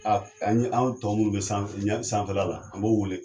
A ani aw tɔ minnu be san ɲari sanfɛla la a b'olu wele